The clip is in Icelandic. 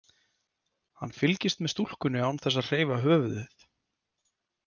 Hann fylgist með stúlkunni án þess að hreyfa höfuðið.